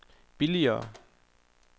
billigere